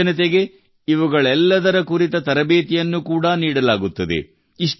ಯುವಜನತೆಗೆ ಇವುಗಳೆಲ್ಲದರ ಕುರಿತ ತರಬೇತಿಯನ್ನು ಕೂಡಾ ನೀಡಲಾಗುತ್ತದೆ